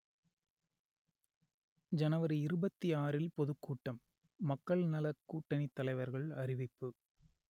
ஜனவரி இருபத்தி ஆறுல் பொதுக்கூட்டம் மக்கள் நலக்கூட்டணித் தலைவர்கள் அறிவிப்பு